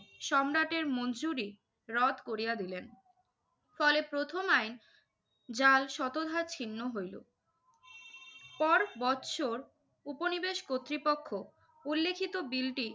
সম্রাটের মঞ্জুরি রদ করিয়া দিলেন। ফলে প্রথম আইন যার শতভাগ ছিন্ন হইল। পর বৎসর উপনিবেশ কর্তৃপক্ষ উল্লিখিত বিলটি